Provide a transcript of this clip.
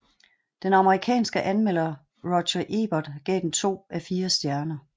Den kendte amerikanske anmelder Roger Ebert gav den to af fire stjerner